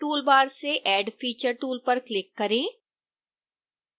tool bar से add feature tool पर click करें